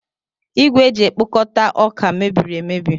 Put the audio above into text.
Igwe eji ekpokọta ọka mebiri emebi.